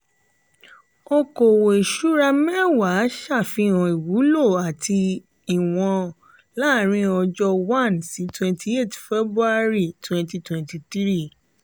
okòwò ìṣúra mẹ́wàà ṣàfihàn ìwúlò àti ìwọ̀n láàrín ọjọ́ 1 sí 28 feb 2023.